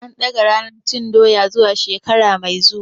An ɗaga ranar cin Doya zuwa shekara mai zuwa.